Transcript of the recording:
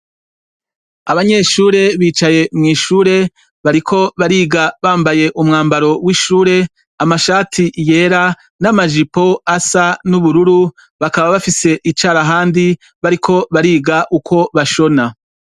Abanyeshure bicaye mw'ishure bariko bariga bambaye umwambaro w'ishure amashati yera n'amajipo asa n'ubururu bakaba bafise icara handi bariko bariga uko bashona.